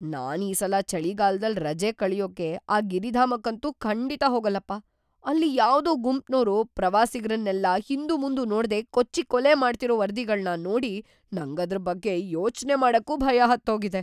ನಾನ್ ಈ ಸಲ ಚಳಿಗಾಲ್ದಲ್ ರಜೆ ಕಳ್ಯೋಕೆ ಆ ಗಿರಿಧಾಮಕ್ಕಂತೂ ಖಂಡಿತ ಹೋಗಲ್ಲಪ್ಪ. ಅಲ್ಲಿ ಯಾವ್ದೋ ಗುಂಪ್ನೋರು ಪ್ರವಾಸಿಗ್ರನ್ನೆಲ್ಲ ಹಿಂದುಮುಂದು ನೋಡ್ದೇ ಕೊಚ್ಚಿ ಕೊಲೆ ಮಾಡ್ತಿರೋ ವರದಿಗಳ್ನ ನೋಡಿ ನಂಗದ್ರ್‌ ಬಗ್ಗೆ ಯೋಚ್ನೆ ಮಾಡಕ್ಕೂ ಭಯ ಹತ್ತೋಗಿದೆ.